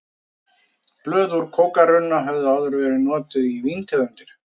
Blöð úr kókarunna höfðu áður verið notuð í víntegundir.